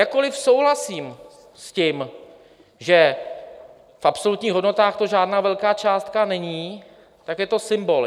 Jakkoli souhlasím s tím, že v absolutních hodnotách to žádná velká částka není, tak je to symbol.